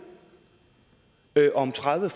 om tredive